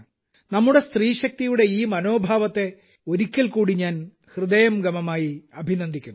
നമ്മുടെ സ്ത്രീശക്തിയുടെ ഈ മനോഭാവത്തെ ഒരിക്കൽക്കൂടി ഞാൻ ഹൃദയംഗമമായി അഭിനന്ദിക്കുന്നു